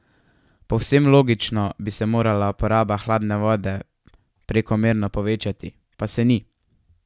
Povsem logično bi se morala poraba hladne vode prekomerno povečati, pa se ni!